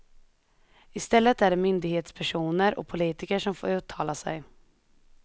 I stället är det myndighetspersoner och politiker som får uttala sig.